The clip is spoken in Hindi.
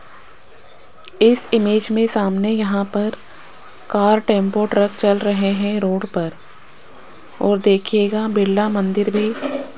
इस इमेज में सामने यहां पर कार टेंपो ट्रक चल रहे है रोड पर और देखिएगा बिरला मंदिर भी --